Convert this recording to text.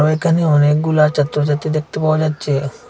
এখানে অনেকগুলা ছাত্রছাত্রী দেখতে পাওয়া যাচ্ছে।